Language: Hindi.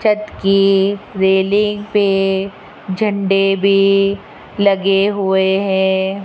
छत की रेलिंग पे झंडे भी लगे हुए हैं।